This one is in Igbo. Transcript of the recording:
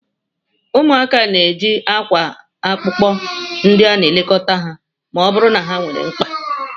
Ụmụaka na-eji akwa akpọku ndị na-elekọta ha ma ọ bụrụ na ha nwere mkpa